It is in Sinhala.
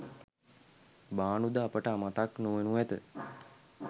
භානු ද අපට මතක් නොවෙනු ඇත.